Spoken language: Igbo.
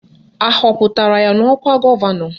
Ahọpụtara ya n'ọkwa gọvanọ?